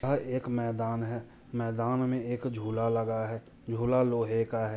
ये एक मैदान है मैदान में एक झूला लगा है झूला लोहे का है।